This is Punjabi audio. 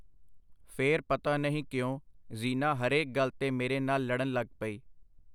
ਫੇਰ ਪਤਾ ਨਹੀਂ ਕਿਉਂ ਜ਼ੀਨਾ ਹਰੇਕ ਗੱਲ ਤੇ ਮੇਰੇ ਨਾਲ ਲੜਨ ਲੱਗ ਪਈ.